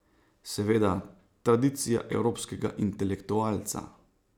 Seveda, tradicija evropskega intelektualca...